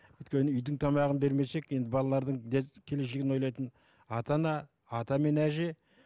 өйткені үйдің тамағын бермесек енді балалардың келешегін ойлайтын ата ана ата мен әже